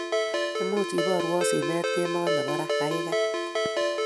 Much iborwo simet kemboi nebo raa, gaigai?